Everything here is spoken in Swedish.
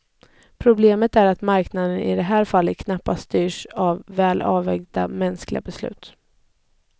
Problemet är att marknaden i det här fallet knappast styrs av väl avvägda mänskliga beslut.